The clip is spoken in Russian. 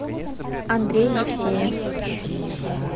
андрей евсеев